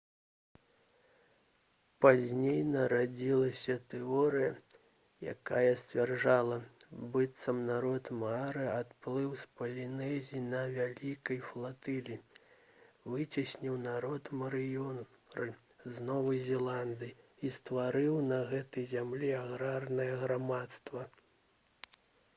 пазней нарадзілася тэорыя якая сцвярджала быццам народ маары адплыў з палінезіі на вялікай флатыліі выцесніў народ марыёры з новай зеландыі і стварыў на гэтай зямлі аграрнае грамадства